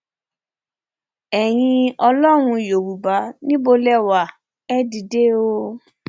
ẹyin ọlọrun yorùbá níbo lè wá ẹ dìde o